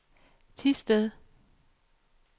Thisted